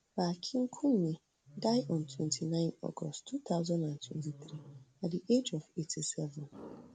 pa akinkunmi die on twenty-nine august two thousand and twenty-three at di age of eighty-seven